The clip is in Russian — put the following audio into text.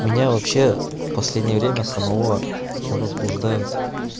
меня вообще в последнее время самого возбуждают